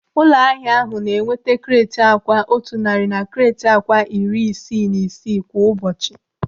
Ụlọahịa ahụ na-enweta kreeti akwa otu narị na kreeti akwa iri isii na isii kwa ụbọchị.